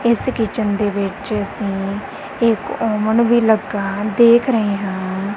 ਇਸ ਕਿਚਨ ਦੇ ਵਿੱਚ ਅਸੀਂ ਇਕ ਔਵਨ ਵੀ ਲੱਗਾ ਦੇਖ ਰਹੇ ਹਾਂ।